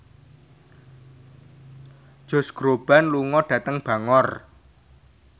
Josh Groban lunga dhateng Bangor